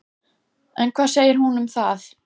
En hvað segir hún um það?